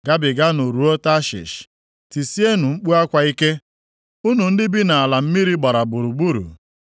Gabiganụ ruo Tashish tisienụ mkpu akwa ike, unu ndị bi nʼala mmiri gbara gburugburu.